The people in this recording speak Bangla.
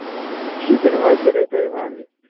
কিসের ভয় সেটাইতো আমি ভাবি।